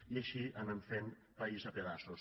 i així anem fent país a pedaços